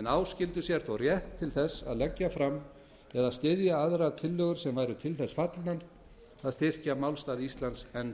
en áskildu sér þó rétt til þess að leggja fram eða styðja aðrar tillögur sem væru til þess fallnar að styrkja málstað íslands enn